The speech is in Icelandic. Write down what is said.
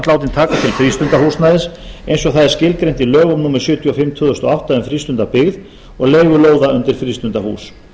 látin taka til frístundahúsnæðis eins og það er skilgreint í lögum númer sjötíu og fimm tvö þúsund og átta um frístundabyggð og leigu lóða undir frístundahús